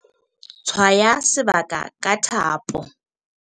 tshwaya sebaka ka thapo